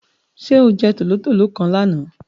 Sé o je tòlótòló kan lánàá?